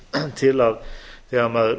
til að þegar